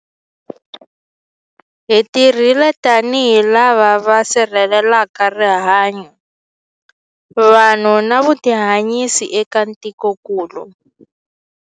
Hi tirhile tanihi lava va sirhelelaka rihanyu, vanhu na vutihanyisi eka tikokulu.